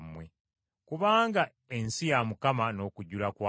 Kubanga ensi ya Mukama n’okujjula kwayo.